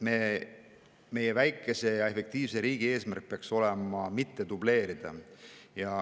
Meie väikese ja efektiivse riigi eesmärk peaks olema vältida dubleerimist.